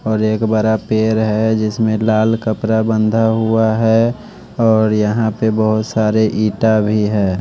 और एक बड़ा पेड़ है जिसमें लाल कपड़ा बंधा हुआ है और यहां पे बहोत सारे ईटा भी है।